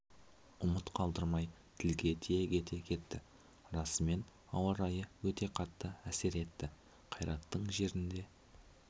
ұмыт қалдырмай тілге тиек ете кетті расымен ауа райы өте қатты әсер етті қайраттың жерінде